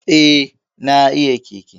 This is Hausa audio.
Eh, na iya keke